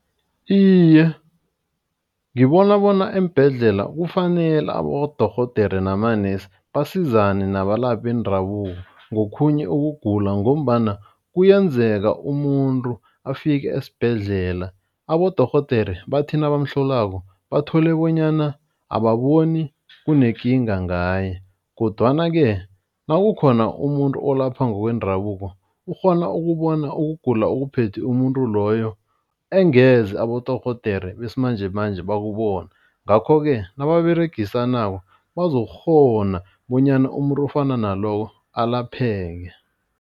Iye, ngibona bona eembhedlela kufanele abodorhodere namanesi basizane nabalaphi bendabuko ngokhunye ukugula. Ngombana kuyenzeka umuntu afike esibhedlela abodorhodere bathi nabamhlolako. Bathole bonyana ababoni kunekinga ngaye kodwana-ke nakukhona umuntu olapha ngokwendabuko ukghona ukubona ukugula okuphethe umuntu loyo engeze abodorhodere besimanjemanje bakubona. Ngakho-ke nababeregisanako bazokukghona bonyana umuntu ofana naloyo alapheke.